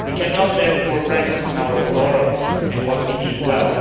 We cannot therefore rest on our laurels and what we did well.